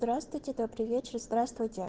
здравствуйте добрый вечер здравствуйте